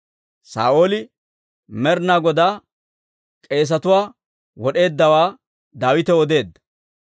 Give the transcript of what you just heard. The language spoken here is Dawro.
Saa'ooli Med'inaa Godaa k'eesetuwaa wod'eeddawaa Daawitaw odeedda.